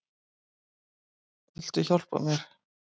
Viltu hjálpa mér?